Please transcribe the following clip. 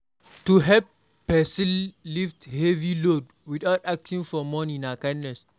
To help persin lift heavy load without asking for money na kindness